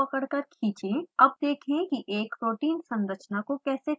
अब देखें कि एक protein संरचना को कैसे खोलते हैं